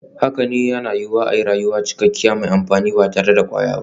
Haka ne, yana yiwuwa a yi rayuwa cikakke kuma mai amfani ba tare da kwayoyi ba.